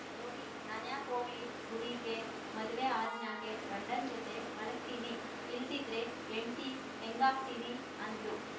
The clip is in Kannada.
ಗೌರಿ ನಾನ್ಯಾಕ್ ವೋಗ್ಲಿ ಗುಡೀಗೆ ಮದ್ವೆ ಆದ್‍ಮ್ಯಾಗೆ ಗಂಡನ್ ಜತೆ ಮಲಗ್ತೀನಿ ಇಲ್ದಿದ್ರೆ ಯೆಂಡ್ತಿ ಎಂಗಾಗ್ತೀನಿ ಅಂದಳು